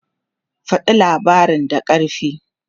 Faɗa labarin da ƙarfi!